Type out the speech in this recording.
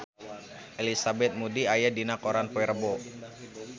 Elizabeth Moody aya dina koran poe Rebo